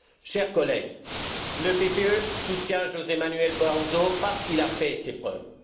Chers collègues, le PPE soutient José Manuel Barroso parce qu'il a fait ses preuves.